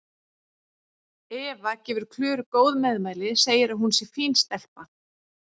Eva gefur Klöru góð meðmæli, segir að hún sé fín stelpa.